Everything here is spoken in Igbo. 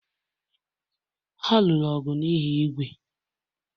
Ha lụrụ ọgụ n'ihi ígwè